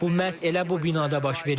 Bu məhz elə bu binada baş verib.